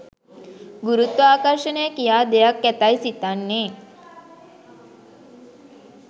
ගුරුත්වාකර්ෂණය කියා දෙයක් ඇතැයි සිතන්නේ